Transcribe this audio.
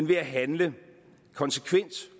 ved at handle konsekvent